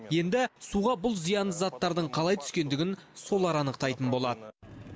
енді суға бұл зиянды заттардың қалай түскендігін солар анықтайтын болады